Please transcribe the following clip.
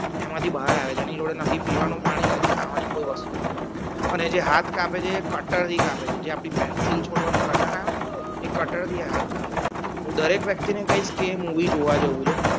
એમાંથી બાર આવે છે જોડે નથી પીવાનું પાણી નથી. ખાવાની કોઈ વસ્તુ અને જે હાથ કાપે છે એ cutter થી કાપે છે જે આપડી pencil છોલવાની cutter આવે ને એ cutter થી હાથ કાપે છે હું દરેક વ્યક્તિને કહીશ કે movie જોવા જેવું છે